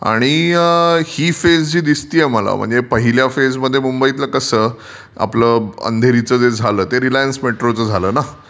आणि ही फेज जी दिसतेय जी मला ती पहिल्या फेज मध्ये मुंबईत कसं आपल अंधेरीचजे झाला ते रिलायन्स मेट्रोचं झाला ना.